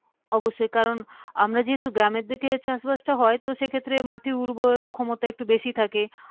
অবশ্যই কারণ আমরা যেহেতু গ্রামের দিকে চাষবাসটা হয় তো সেক্ষেত্রে মাটি উর্বরতা ক্ষমতা একটু বেশি থাকে।